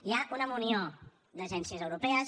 hi ha una munió d’agències europees